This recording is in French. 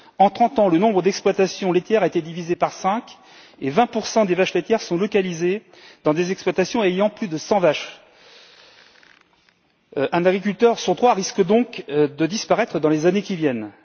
En 30 ans, le nombre d'exploitations laitières a été divisé par cinq et 20 des vaches laitières sont localisées dans des exploitations de plus de 100 vaches. Un agriculteur sur trois risque donc de disparaître dans les années qui viennent.